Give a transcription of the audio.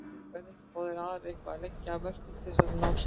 Verða ekki báðir aðilar eitthvað að leggja af mörkum til þess að ná saman?